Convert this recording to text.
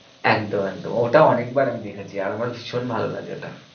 একদম একদম ওটা অনেক বার আমি দেখেছি আর আমার ভীষণ ভালো লাগে ওটা।